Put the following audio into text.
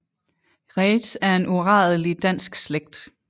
Reedtz er en uradelig dansk slægt